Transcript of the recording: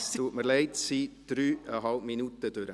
Es tut mir leid, es sind dreieinhalb Minuten vergangen.